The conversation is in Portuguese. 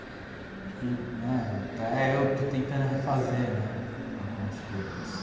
Acho que até eu estou tentando refazer né algumas coisas.